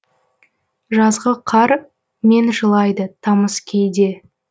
жазғы қар мен жылайды тамыз кейде